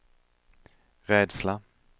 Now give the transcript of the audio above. rädsla